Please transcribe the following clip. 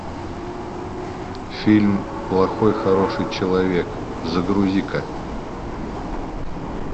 фильм плохой хороший человек загрузи ка